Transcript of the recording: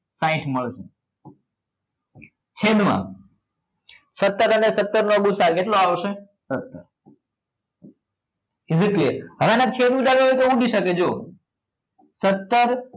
સાહીંઠ મળશે છેદ માં સત્તર અને સત્તર નો ગુ સા અ કેટલો આવશે સત્તર is it clear હવે આના છેદ ઉડાડવા હોય તો ઉડી શકે જો સત્તર